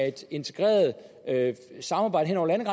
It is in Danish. et integreret samarbejde hen